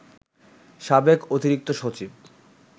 সাবেক অতিরিক্ত সচিব